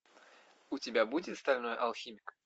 у тебя будет стальной алхимик